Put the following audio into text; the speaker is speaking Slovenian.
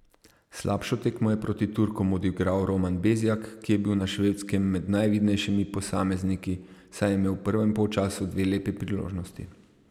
Slabšo tekmo je proti Turkom odigral Roman Bezjak, ki je bil na Švedskem med najvidnejšimi posamezniki, saj je imel v prvem polčasu dve lepi priložnosti.